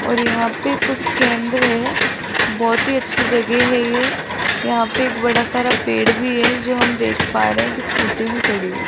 और यहां पे कुछ केंद्र है बहुत ही अच्छी जगह है ये यहां पे एक बड़ा सारा पेड़ भी है जो हम देख पा रहे है एक स्कूटी भी खड़ी है।